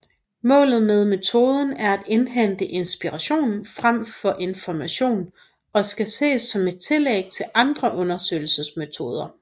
Målet med metoden er at indhente inspiration frem for information og skal ses som et tillæg til andre undersøgelsesmetoder